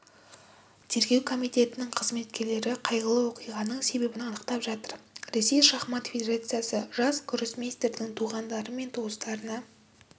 тергеу комитетінің қызметкерлері қайғылы оқиғаның себебін анықтап жатыр ресей шахмат федерациясы жас гроссмейстердің туғандары мен туыстарына